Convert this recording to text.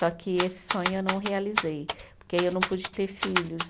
Só que esse sonho eu não realizei, porque aí eu não pude ter filhos.